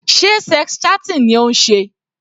Sé sex chatting ni ó ń ṣe?